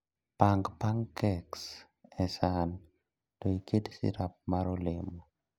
Pang pancakes e san to iket sirap mar olemo